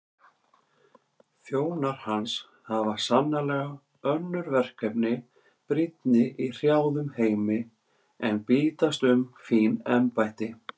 Þjónar hans hafa sannarlega önnur verkefni brýnni í hrjáðum heimi en bítast um fín embætti.